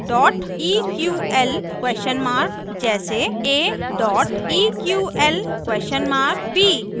dot eql question mark जैसे aeql b